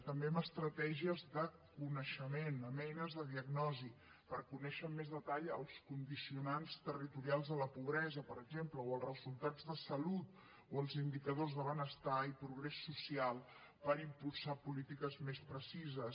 també amb estratègies de coneixement amb eines de diagnosi per conèixer amb més detall els condicionants territorials de la pobresa per exemple o els resultats de salut o els indicadors de benestar i progrés social per impulsar polítiques més precises